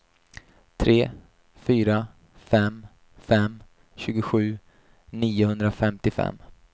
tre fyra fem fem tjugosju niohundrafemtiofem